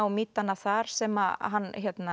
mýtanna þar sem hann